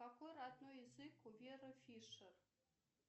какой родной язык у веры фишер